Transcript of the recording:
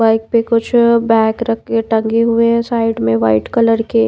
bike पे कुछ bag रख के टंगे हुए हैं साइड में वाइट कलर के--